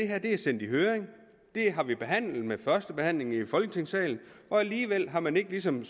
har været sendt i høring det har vi behandlet ved første behandling her i folketingssalen alligevel har man ligesom